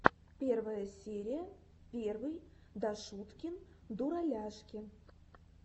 первая серия первый дашуткин дураляшки